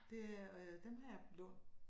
Det er øh dem har jeg lånt